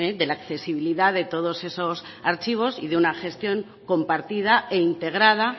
de la accesibilidad de todos esos archivos y de una gestión compartida e integrada